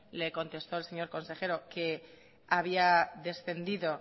le contestó el señor consejero que había descendido